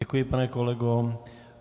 Děkuji, pane kolego.